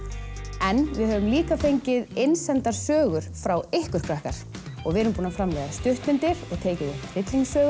en við höfum líka fengið innsendar sögur frá ykkur krakkar við erum búin að framleiða stuttmyndir og tekið upp hryllingssögur